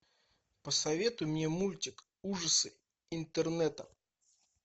посоветуй мне мультик ужасы интернета